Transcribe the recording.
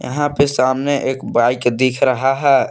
यहां पे सामने एक बाइक दिख रहा है।